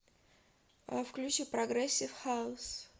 включи прогрессив хаус